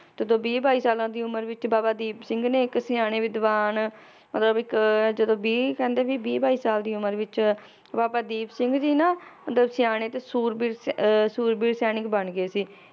ਜਦੋ ਵੀਹ ਬਾਈ ਸਾਲਾਂ ਦੀ ਉਮਰ ਵਿਚ ਬਾਬਾ ਦੀਪ ਸਿੰਘ ਨੇ ਇੱਕ ਸਿਆਣੇ ਵਿਦਵਾਨ, ਮਤਲਬ ਇੱਕ ਜਦੋਂ ਵੀਹ ਕਹਿੰਦੇ ਵੀ ਵੀਹ ਬਾਈ ਸਾਲ ਦੀ ਉਮਰ ਵਿਚ, ਬਾਬਾ ਦੀਪ ਸਿੰਘ ਜੀ ਨਾ, ਮਤਲਬ ਸਿਆਣੇ ਤੇ ਸੂਰਬੀਰ ਸ~ ਅਹ ਸੂਰਬੀਰ ਸੈਨਿਕ ਬਣ ਗਏ ਸੀ